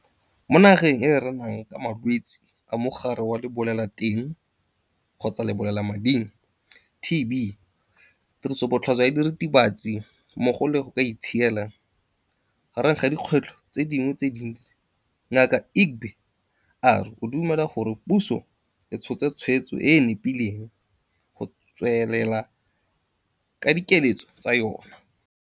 Mo nageng e e renang ka malwetse a Mogare wa Lebolelateng-Lebolelamading, TB, tirisobotlhaswa ya diritibatsi mmogo le ka go itshiela, gareng ga dikgwetlho tse dingwe tse dintsi, Ngaka Egbe a re o dumela gore puso e tshotse tshwetso e e nepileng go tswelela ka dikiletso tsa yona.